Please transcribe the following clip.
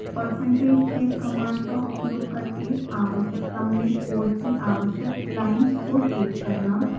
percentage save command का उपयोग करके आवश्यक क्रम में कोड की आवश्यक लाइन्स को सेव करना